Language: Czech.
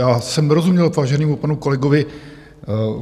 Já jsem nerozuměl váženému panu kolegovi.